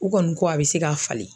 U kɔni ko a bɛ se ka falen.